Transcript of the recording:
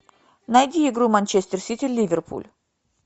найди игру манчестер сити ливерпуль